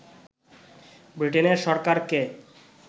ব্রিটেনের সরকারকে